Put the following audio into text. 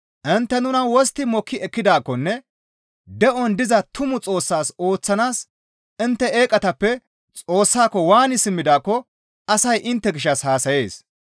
Intte nuna wostti mokki ekkidaakkonne de7on diza tumu Xoossaas ooththanaas intte eeqatappe Xoossaako waani simmidaakko asay intte gishshas haasayees.